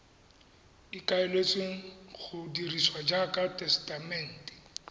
ikaeletsweng go dirisiwa jaaka tesetamente